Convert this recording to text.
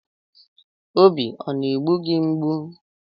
Obi ọ na-egbu gị mgbu?